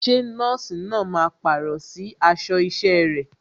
Ṣé nọ́ọ̀sì náà máa pàrọ̀ sí aṣọ isẹ rẹ̀?